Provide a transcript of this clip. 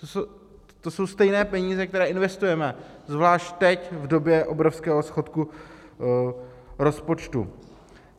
To jsou stejné peníze, které investujeme, zvlášť teď v době obrovského schodku rozpočtu.